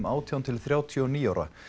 átján til þrjátíu og níu ára